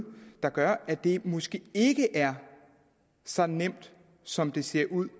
der gør at det måske ikke er så nemt som det ser ud